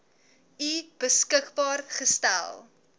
u beskikbaar gestel